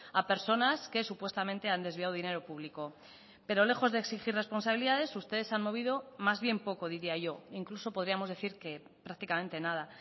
a personas que supuestamente han desviado dinero público pero lejos de exigir responsabilidades ustedes han movido más bien poco diría yo incluso podríamos decir que prácticamente nada